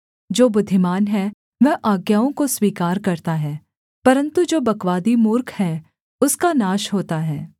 जो बुद्धिमान है वह आज्ञाओं को स्वीकार करता है परन्तु जो बकवादी मूर्ख है उसका नाश होता है